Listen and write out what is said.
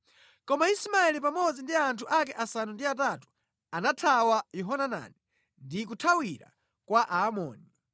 Koma Ismaeli pamodzi ndi anthu ake asanu ndi atatu, anathawa Yohanani ndi kuthawira kwa Aamoni.